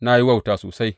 Na yi wauta sosai.